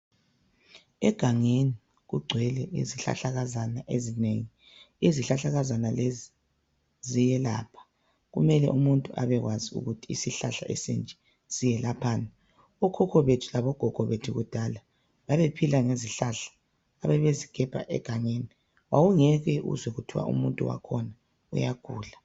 Egangeni kugcwele izihlahlakazana ezinengi. Izihlahlakazana lezi ziyelapha kumele umuntu abekwazi ukuthi isihlahla ezinje siyelaphani. Okhokho bethu labogogo bethu kudala babephila ngezihlahla ababezigebha egangeni. Wawungeke uzwe kuthwa umuntu wakhona uyagula.